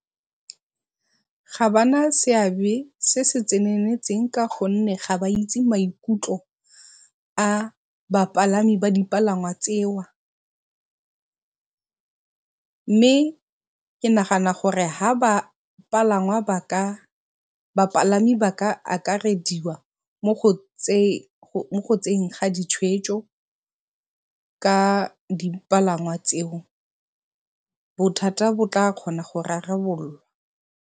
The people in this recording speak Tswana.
Ga ba na seabe se se tseneletseng ka gonne ga ba itse maikutlo a bapalami ba dipalangwa mme ke nagana ha bapalangwa ba ka, bapalami ba ka akarediwa mo go tseyeng ga ditshweetso ka dipalangwa tseo bothata bo ka kgonwa go rarabololwa.